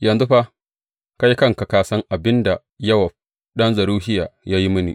Yanzu fa, kai kanka ka san abin da Yowab ɗan Zeruhiya ya yi mini.